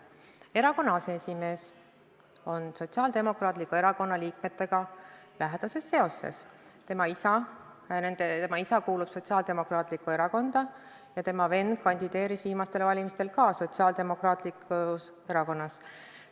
Aseesimees on Sotsiaaldemokraatliku Erakonna liikmetega lähedastes seostes: tema isa kuulub Sotsiaaldemokraatlikku Erakonda ja tema vend kandideeris viimastel valimistel ka Sotsiaaldemokraatlikus Erakonnas.